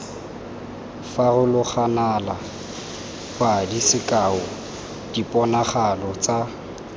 farologanale padi sekao diponagalo tsa